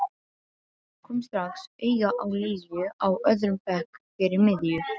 Kom strax auga á Lilju á öðrum bekk fyrir miðju.